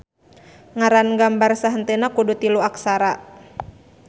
Ngaran gambar sahenteuna kudu tilu aksara.